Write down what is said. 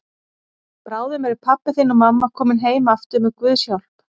Bráðum eru pabbi þinn og mamma komin heim aftur með Guðs hjálp.